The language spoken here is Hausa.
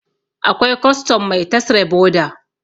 akwai custom Mai tasre boda